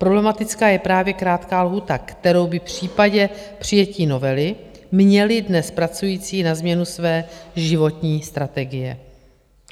Problematická je právě krátká lhůta, kterou by v případě přijetí novely měli dnes pracující na změnu své životní strategie.